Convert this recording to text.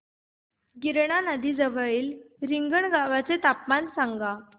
गिरणा नदी जवळील रिंगणगावाचे तापमान सांगा